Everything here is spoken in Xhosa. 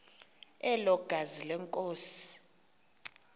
elo gazi lenkosi